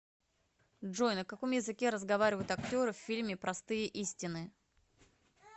джой на каком языке разговаривают актеры в фильме простые истины